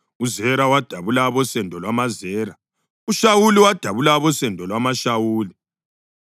uZera wadabula abosendo lwamaZera; uShawuli wadabula abosendo lwamaShawuli.